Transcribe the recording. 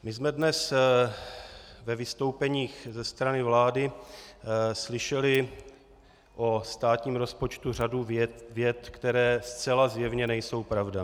My jsme dnes ve vystoupeních ze strany vlády slyšeli o státním rozpočtu řadu vět, které zcela zjevně nejsou pravda.